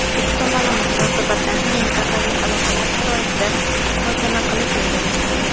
ikki tomonlama munosabatlarni mintaqaviy aloqalar sharoitida muhokama qilish rejalashtirilgan.